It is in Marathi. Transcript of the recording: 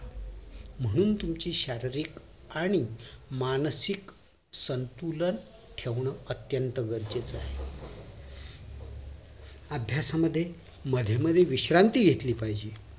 म्हणून तुमची शारीरिक आणि मानसिक संतुलन ठेवणं अत्यंत गरजेचं आहे अभ्यासामध्ये मध्ये मध्ये विश्रांती घेतली पाहिजे